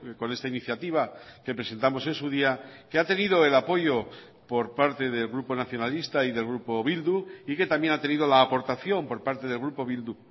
con esta iniciativa que presentamos en su día que ha tenido el apoyo por parte del grupo nacionalista y del grupo bildu y que también ha tenido la aportación por parte del grupo bildu